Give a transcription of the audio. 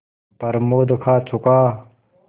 प्रमोद खा चुका